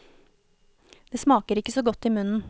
Det smaker ikke så godt i munnen.